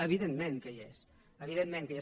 evidentment que hi és evidentment que hi és